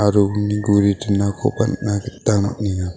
aro uni guri dinakoba nikna gita man·enga.